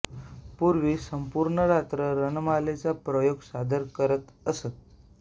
पूर्वी संपूर्ण रात्र रणमालेचा प्रयोग सादर करत असत